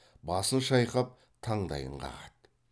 басын шайқап таңдайын қағады